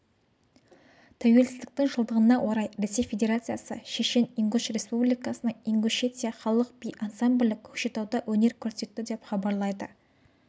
тәуелсіздіктің жылдығына орай ресей федерациясы шешен-ингуш республикасының ингушетия халық би ансамблі көкшетауда өнер көрсетті деп хабарлайды